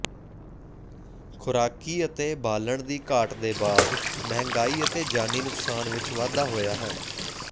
ਖੁਰਾਕੀ ਅਤੇ ਬਾਲਣ ਦੀ ਘਾਟ ਦੇ ਬਾਅਦ ਮਹਿੰਗਾਈ ਅਤੇ ਜਾਨੀ ਨੁਕਸਾਨ ਵਿੱਚ ਵਾਧਾ ਹੋਇਆ ਹੈ